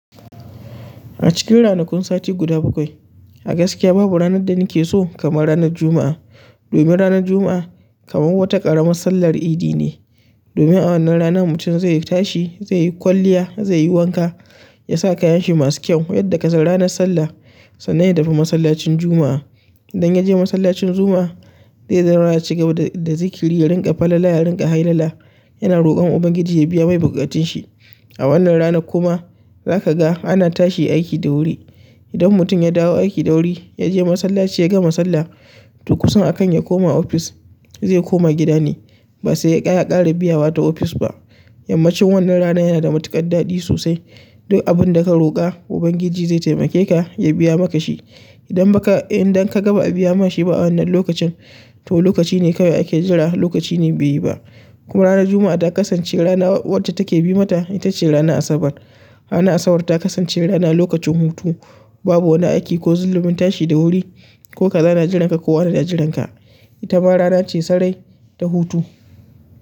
A cikin ranakun sati guda bakwai, a gaskiya babu ranar da nake so kamar ranar Juma'a. Domin ranar Juma'a kamar wata ƙara massallar idi ne. Domin a wannan rana mutum zai tashi, zai yi kwalliya, zai yi wanka, ya sa kayan shi masu kyau, yadda ka san ranar sallah sannan ya tafi masallacin Juma'a. Idan ya je masallacin Juma'a, zai yi gyara ya cigaba da zikiri, ya rinƙa falala, ya rinƙa hailala. Yana roƙon Ubangiji ya biya mai buƙatun shi. A wannan ranan kuma zaka ga ana tashi aiki da wuri. Idan mutum ya dawo aiki da wuri, ya je masallaci, ya ga ma sallah, to kusun a kan ya koma ofis zai koma gida ne basai yakara biyawa ta ofis ba yammacin wannan rana yana da matuƙaɗaɗi sosai. Duk abin da ka roƙa Ubangiji zai taimake ka ya biya maka shi. Idan baka, idan ka ga baa biya ma shi ba a wannan lokacin, to lokaci ne kawai ake jira lokaci ne bai yi ba. Kuma ranar Juma'a ta kasance rana wacce take bi mata, ita ce ranar Asabar. Ranar Asabar ta kasance rana lokacin hutu. Babu wani aiki ko zalumin tashi da wuri ko kaza na jiranka ko wane na jiranka. Ita ma rana ce sarai ta hutu.